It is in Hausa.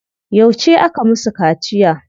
Yauce aka musu kaciya?